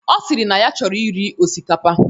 Ọ sịrị na ya chọrọ iri osikapa.